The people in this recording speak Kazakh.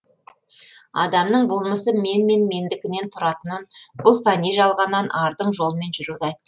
адамның болмысы мен мен менікіден тұратынын бұл фәни жалғаннан ардың жолымен жүруді айт